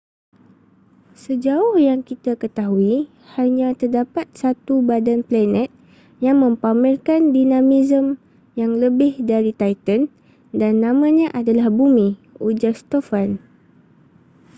sejauh yang kita ketahui hanya terdapat satu badan planet yang mempamerkan dinamisme yang lebih dari titan dan namanya adalah bumi ujar stofan